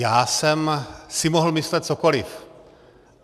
Já jsem si mohl myslet cokoliv.